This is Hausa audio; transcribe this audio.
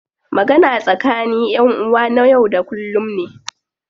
Magana tsakani ƴan uwa na yau da kullum ne.